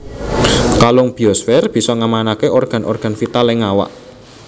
Kalung biosfér bisa ngamanaké organ organ vital ing awak